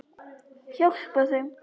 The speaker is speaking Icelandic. Hjálpa þeim.